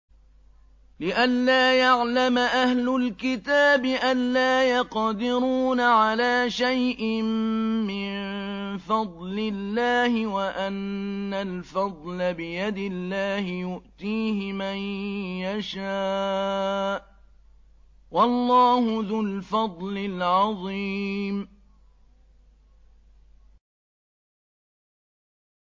لِّئَلَّا يَعْلَمَ أَهْلُ الْكِتَابِ أَلَّا يَقْدِرُونَ عَلَىٰ شَيْءٍ مِّن فَضْلِ اللَّهِ ۙ وَأَنَّ الْفَضْلَ بِيَدِ اللَّهِ يُؤْتِيهِ مَن يَشَاءُ ۚ وَاللَّهُ ذُو الْفَضْلِ الْعَظِيمِ